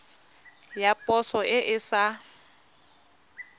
ya poso e e sa